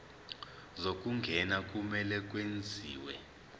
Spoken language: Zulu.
zokungena kumele kwenziwe